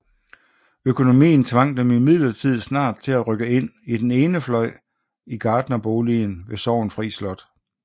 Økonomien tvang dem imidlertid snart til at rykke ind i den ene fløj i gartnerboligen ved Sorgenfri Slot